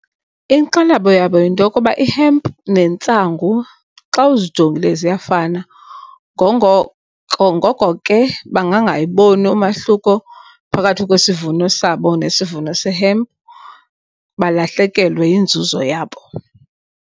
Inkxalabo yabo yinto yokuba ihempu nentsangu xa uzijongile ziyafana. Ngoko ke bangangayiboni umahluko phakathi kwesivuno sabo nesivuno sehempu balahlekelwe yinzuzo yabo.